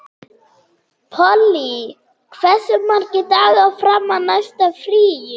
Polly, hversu margir dagar fram að næsta fríi?